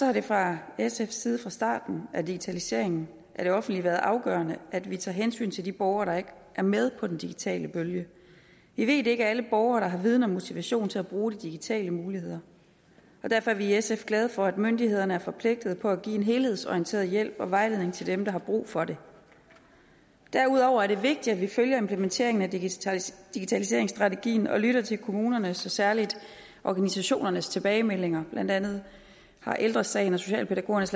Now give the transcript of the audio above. har det fra sfs side fra starten af digitaliseringen af det offentlige været afgørende at vi tager hensyn til de borgere der ikke er med på den digitale bølge vi ved det ikke er alle borgere der har viden og motivation til at bruge de digitale muligheder derfor er vi i sf glade for at myndighederne er forpligtede på at give en helhedsorienteret hjælp og vejledning til dem der har brug for det derudover er det vigtigt at vi følger implementeringen af digitaliseringsstrategien og lytter til kommunernes og særligt organisationernes tilbagemeldinger blandt andet har ældre sagen og socialpædagogernes